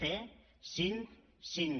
c cinc cinc